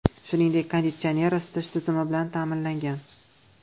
Shuningdek, konditsioner, isitish tizimi bilan ta’minlangan.